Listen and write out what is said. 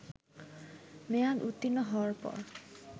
মেয়াদ উত্তীর্ণ হওয়ার পর